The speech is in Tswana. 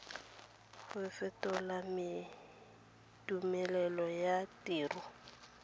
go fetola tumelelo ya tiro